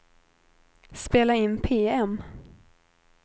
spela in PM